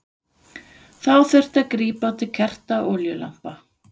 Þá þurfti að grípa til kerta og olíulampa.